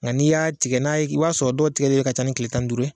Nga n'i y'a tigɛ n'a ye, i b'a sɔrɔ dɔw tigɛli yɛrɛ ka ca ni kile tan ni duuru ye,